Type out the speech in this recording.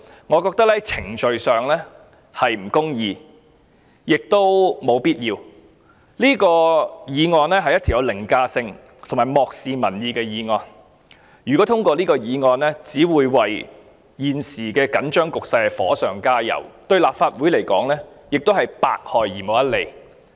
我認為程序上是不公義亦無必要，這是一項具有凌駕性及漠視民意的議案，如果通過這項議案，只會為現時的緊張局勢火上加油，對立法會而言亦百害而無一利。